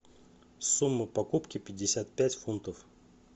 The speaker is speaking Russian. сумма покупки пятьдесят пять фунтов